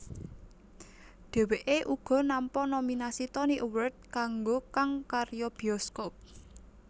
Dhèwèké uga nampa nominasi Tony Award kanggo kang karya bioskop